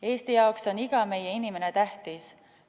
Eesti jaoks on iga meie inimene tähtis.